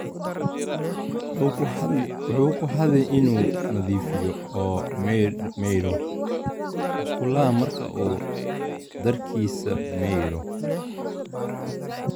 Wuxuu ku hadhi inuu nadiifiyo oo maydho musqulaha marka uu dharkiisa maydho.